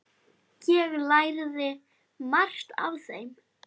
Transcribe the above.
Ég lærði margt af þeim.